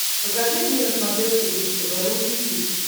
покажи мне на смотрешке бридж тв русский хит